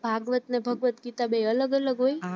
ભાગવત અને ભગવત ગીતા બય અલગ અલગ હોય?